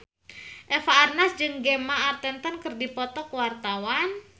Eva Arnaz jeung Gemma Arterton keur dipoto ku wartawan